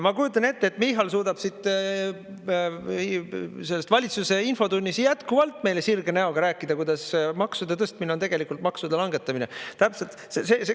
Ma kujutan ette, et Michal suudab siit valitsuse infotunnis jätkuvalt meile sirge näoga rääkida, kuidas maksude tõstmine on tegelikult maksude langetamine, täpselt.